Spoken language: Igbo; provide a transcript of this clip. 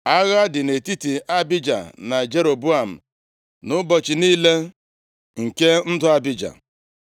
Agha dị nʼetiti Abija na Jeroboam nʼụbọchị niile nke ndụ Abija.